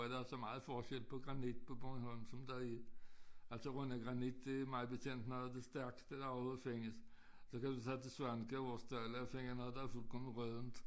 Der er så meget forskel på granit på Bornholm som der er altså Rønne granit det mig bekendt noget af det stærkeste der overhovedet findes så kan du tage til Svaneke og finde noget der er fuldkomment råddent